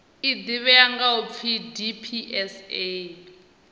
ḓivhea nga u pfi dpsa